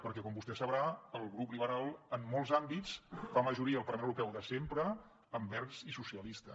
perquè com vostè sabrà el grup liberal en molts àmbits fa majoria al parlament europeu de sempre amb verds i socialistes